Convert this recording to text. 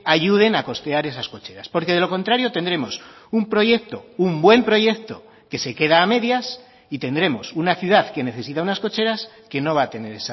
ayuden a costear esas cocheras porque de lo contrario tendremos un proyecto un buen proyecto que se queda a medias y tendremos una ciudad que necesita unas cocheras que no va a tener